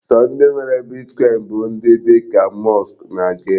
Sọ ndị nwere Bitkọin bụ ndị dị ka Musk na Gate.